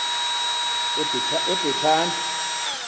ebhetani